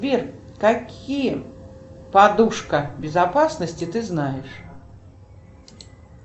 сбер какие подушка безопасности ты знаешь